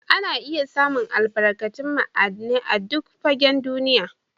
Ana iya samu albarkatun ma'aidinai a'duk gafen duniyya.